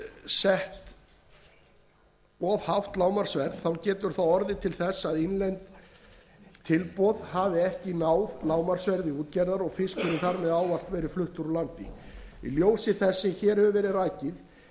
páska of hátt lágmarksverð getur orðið til þess að innlend tilboð ná ekki lágmarksverði útgerðar og fiskurinn þar með ávallt farið úr landi í ljósi þess sem hér hefur verið rakið gerir fyrsti